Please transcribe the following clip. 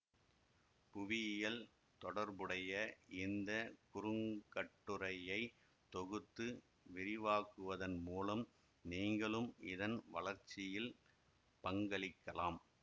புவியியல் தொடர்புடைய இந்த குறுங்கட்டுரையை தொகுத்து விரிவாக்குவதன் மூலம் நீங்களும் இதன் வளர்ச்சியில் பங்களிக்கலாம்